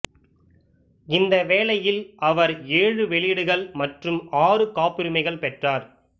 இந்த வேலையில் அவர் ஏழு வெளியீடுகள் மற்றும் ஆறு காப்புரிமைகள் பெற்றார்